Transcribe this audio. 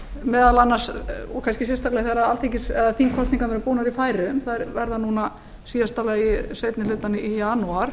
meðal annars og kannski sérstaklga þegar þingkosningarnar eru búnar í færeyjar þær verða núna í síðasta lagi seinni hlutann í janúar